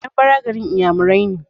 Anambra garin iyamurai ne